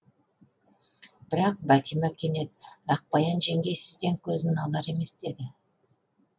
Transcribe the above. бірақ бәтима кенет ақбаян жеңгей сізден көзін алар емес деді